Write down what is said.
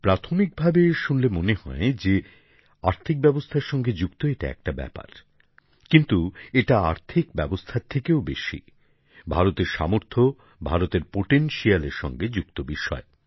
প্রাথমিক ভাবে শুনে মনে হয় যে আর্থিক ব্যবস্থার সঙ্গে যুক্ত একটা ব্যাপার কিন্তু এটা আর্থিক ব্যবস্থার থেকেও বেশি ভারতের সামর্থ্য ভারতের সম্ভাবনার সঙ্গে যুক্ত বিষয়